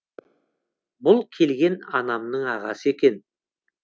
бұл келген анамның ағасы екен